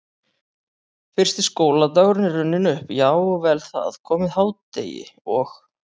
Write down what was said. Fyrsti skóladagur er runninn upp, já og vel það, komið hádegi og